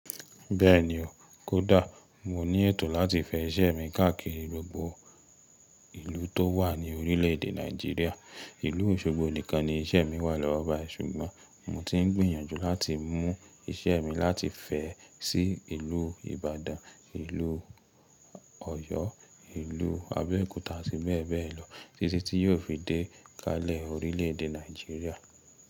Bẹ́ẹ̀ni o, kódà mo ní ètò láti fẹ iṣẹ́ mi káàkiri gbogbo ìlú tó wà ní orílẹ̀ èdè nàìjíríà. Ìlú Òṣogbo nìkan ni iṣẹ́ mi wà lọ́wọ́ báyìí ṣùgbọ́n mo ti ń gbìyànjú láti mú iṣẹ́ mi láti fẹ́ sí ìlú Ìbàdàn, ìlú Ọ̀yọ́, ìlú Abẹ́òkúta àti bẹ́ẹ̀ bẹ́ẹ̀ lọ títí tí yóò fi dé kalẹ̀ orílẹ̀ èdè Nàìjíríà.